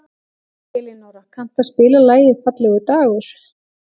Elinóra, kanntu að spila lagið „Fallegur dagur“?